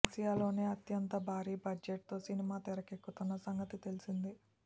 ఆసియాలోనే అత్యంత భారీ బడ్జెట్ తో సినిమా తెరకెక్కుతున్న సంగతి తెల్సిందే